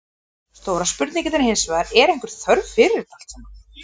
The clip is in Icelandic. Stóra spurningin er hinsvegar, er einhver þörf fyrir þetta allt saman?